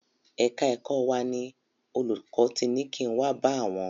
Ẹ̀ka ẹ̀kọ́ wa ni olùkọ́ ti ni kin wá bá àwọn.